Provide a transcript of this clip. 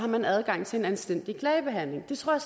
man har adgang til en anstændig klagebehandling det tror